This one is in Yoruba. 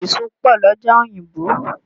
Èso pọ̀ l'ọ́jà òyìnbò